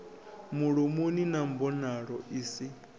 mulomoni na mbonalo i si